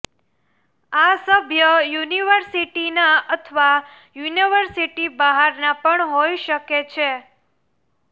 આ સભ્ય યુનિવર્સિટીના અથવા યુનિવર્સિટી બહારના પણ હોય શકે છે